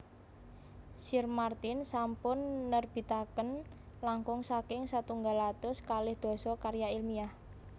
Sir Martin sampun nerbitaken langkung saking setunggal atus kalih dasa karya ilmiah